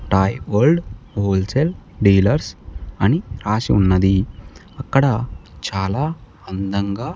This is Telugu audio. టాయ్ వరల్డ్ హోల్సేల్ డీలర్స్ అని రాసి ఉన్నది అక్కడ చాలా అందంగా.